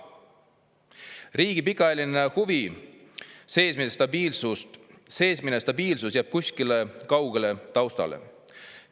Riigi pikaajaline huvi, seesmine stabiilsus jääb kuskile kaugele taustale.